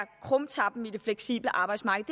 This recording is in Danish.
krumtappen i det fleksible arbejdsmarked